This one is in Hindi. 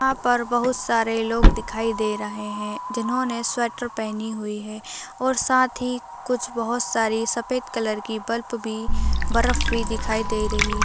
यहां पास बहुत सारे लोग दिखाई दे रहे हैं जिन्होंने स्वेटर पहनी हुई है और साथ ही कुछ बहोत सारी सफेद कलर की बल्प बी बर्फ भी दिखाई दे रही --